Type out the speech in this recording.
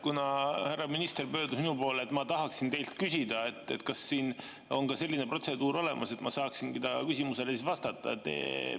Kuna härra minister pöördus minu poole, siis ma tahaksin teilt küsida: kas siin on ka selline protseduur olemas, et ma saaksin ta küsimusele vastata?